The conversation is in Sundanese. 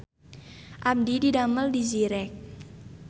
Abdi didamel di Zyrex